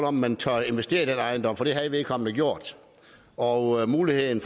om man turde investere i den ejendom for det havde vedkommende gjort og muligheden